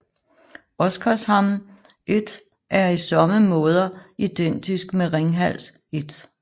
Oskarshamn 1 er i somme måder identisk med Ringhals 1